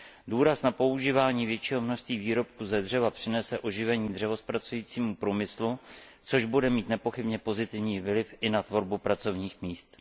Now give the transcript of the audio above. Důraz na používání většího množství výrobků ze dřeva přinese oživení dřevozpracujícího průmyslu, což bude mít nepochybně pozitivní vliv i na tvorbu pracovních míst.